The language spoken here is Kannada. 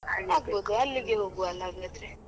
ಅಲ್ಲಿಗೆ ಹೋಗ್ವ ಅಲ್ಲ ಹಾಗಾದ್ರೆ?